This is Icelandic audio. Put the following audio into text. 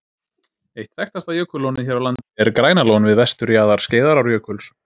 Eitt þekktasta jökullónið hér á landi er Grænalón við vesturjaðar Skeiðarárjökuls.